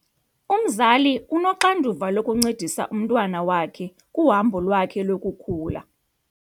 Umzali unoxanduva lokuncedisa umntwana wakhe kuhambo lwakhe lokukhula.